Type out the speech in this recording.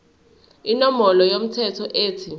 inombolo yomthelo ethi